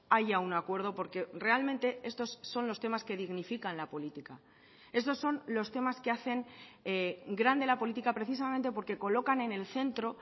haya un acuerdo porque realmente estos son los temas que dignifican la política estos son los temas que hacen grande la política precisamente porque colocan en el centro